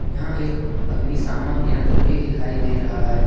यहां एक अग्निशमन यंत्र भी दिखाई दे रहा है।